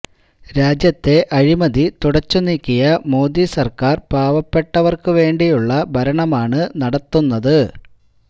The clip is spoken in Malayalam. രാജ്യത്തെ അഴിമതി തുടച്ചു നീക്കിയ മോദി സര്ക്കാര് പാവപ്പെട്ടവര്ക്കുവേണ്ടിയുള്ള ഭരണമാണ് നടത്തുന്നത്